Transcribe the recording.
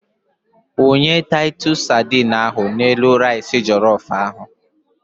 Wunye taitus sadine ahụ n'elu rais jelof ahụ.